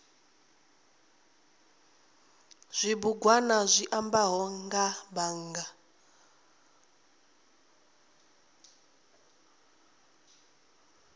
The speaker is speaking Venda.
zwibugwana zwi ambaho nga bannga